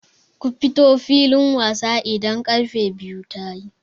Ku fito filin wasa idan karfe biyu tayi!